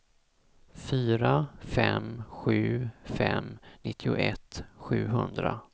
fyra fem sju fem nittioett sjuhundra